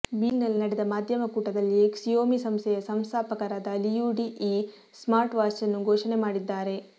ಬೀಜಿಂಗ್ನಲ್ಲಿ ನಡೆದ ಮಾಧ್ಯಮ ಕೂಟದಲ್ಲಿ ಕ್ಸಿಯೊಮಿ ಸಂಸ್ಥೆಯ ಸಹಸಂಸ್ಥಾಪಕರಾದ ಲಿಯು ಡಿ ಈ ಸ್ಮಾರ್ಟ್ವಾಚ್ನ್ನು ಘೋಷಣೆ ಮಾಡಿದ್ದಾರೆ